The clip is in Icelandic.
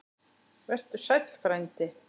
Vertu sæll, frændi.